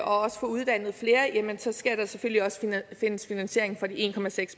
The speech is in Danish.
og få uddannet flere skal der selvfølgelig også findes finansiering for de en